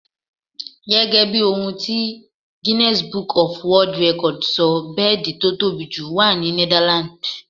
Gẹ́gẹ́ bí ohun ti Guinness Book of World records sọ, bẹ́ẹ̀dì tí ó tóbi jù wà ní Netherlands.